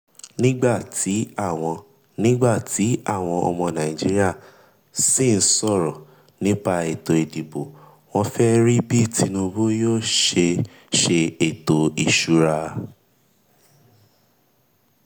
nígbà tí àwọn nígbà tí àwọn ọmọ nàìjíríà sín sọ̀rọ̀ nípa ètò ìdìbò wọ́n fẹ́ rí bí tinubu yóò ṣe ètò ìsúná.